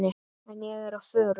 En ég er á förum.